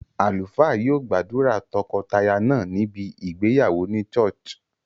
Àlùfáà yio gbàdùrà tokotaya náà níbi ìgbéyàwó ni churh